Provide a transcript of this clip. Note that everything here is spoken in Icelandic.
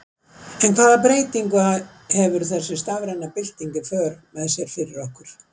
En hvaða breytingu hefur þessi stafræna bylting í för með sér fyrir okkur?